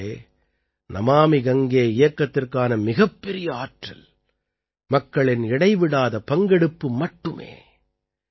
நண்பர்களே நமாமி கங்கே இயக்கத்திற்கான மிகப்பெரிய ஆற்றல் மக்களின் இடைவிடாத பங்கெடுப்பு மட்டுமே